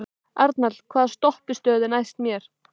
Arnald, hvaða stoppistöð er næst mér?